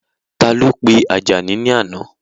Ta ló pe Àjàní ní àná?